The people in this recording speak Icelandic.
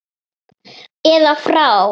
eða frá.